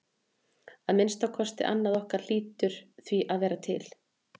Að minnsta kosti annað okkar hlýtur því að vera til.